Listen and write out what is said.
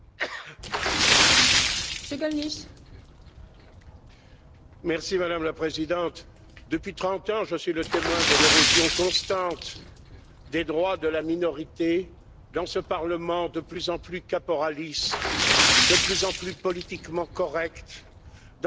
Madame la Présidente, depuis 30 ans, je suis le témoin de l'érosion constante des droits de la minorité dans ce parlement de plus en plus caporaliste et de plus en plus politiquement correct, dans cette institution qui ne parle que des droits des minorités, du respect de l'état de droit,